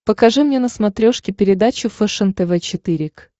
покажи мне на смотрешке передачу фэшен тв четыре к